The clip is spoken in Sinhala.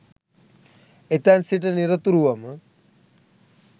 එතැන් සිට නිරතුරුවම